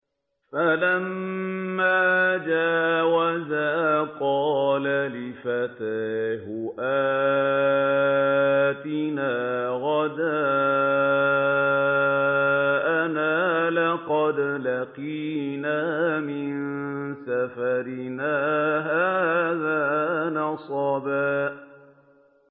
فَلَمَّا جَاوَزَا قَالَ لِفَتَاهُ آتِنَا غَدَاءَنَا لَقَدْ لَقِينَا مِن سَفَرِنَا هَٰذَا نَصَبًا